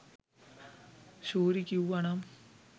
ශූරි කිව්වනම්